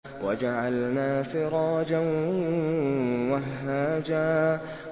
وَجَعَلْنَا سِرَاجًا وَهَّاجًا